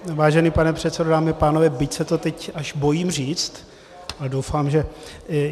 Vážený pane předsedo, dámy a pánové, byť se to teď až bojím říct, ale doufám, že...